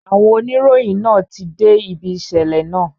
Àwọn oníròyìn náà ti dé ibi ìṣẹ̀lẹ̀ náà